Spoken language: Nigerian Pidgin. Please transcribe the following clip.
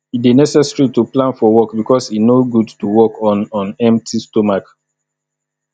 e de necessary to plan for work because e no good to work on on empty stomach